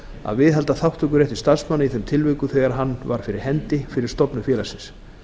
að viðhalda þátttökurétti starfsmanna í þeim tilvikum þegar hann var fyrir hendi fyrir stofnun félagsins